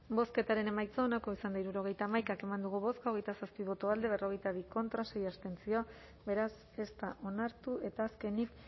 bozketaren emaitza onako izan da hirurogeita hamaika eman dugu bozka hogeita zazpi boto alde berrogeita bi contra sei abstentzio beraz ez da onartu eta azkenik